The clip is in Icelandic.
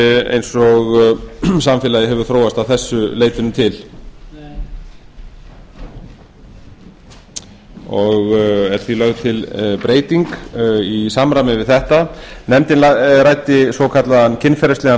eins og samfélagið hefur þróast að þessu leytinu til er því lögð til breyting í samræmi við þetta nefndin ræddi svokallaðan kynferðislegan